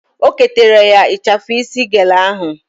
O ketara ya ịchafụ isi gele ahụ